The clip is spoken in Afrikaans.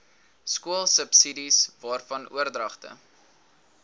skoolsubsidies waarvan oordragte